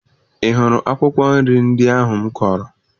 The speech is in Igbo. Ị hụrụ akwụkwọ nri ndị ahụ m kọrọ?